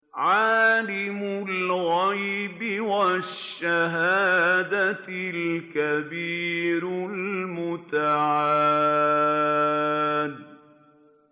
عَالِمُ الْغَيْبِ وَالشَّهَادَةِ الْكَبِيرُ الْمُتَعَالِ